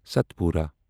Satpura